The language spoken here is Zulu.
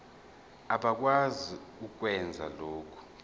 abakwazi ukwenza lokhu